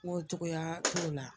N ko cogoya t'o la